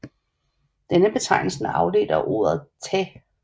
Denne betegnelse er afledt af ordet tä